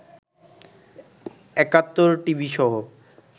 একাত্তর টিভিসহ